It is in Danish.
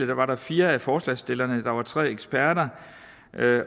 der var fire af forslagsstillerne i panelet der var tre eksperter